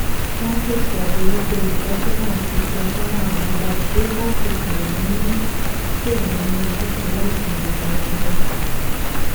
wọn n pese abojuto itọsọna ati itọsọna amọdaju ati pe wọn ni pe wọn ni ojuse lati rii daju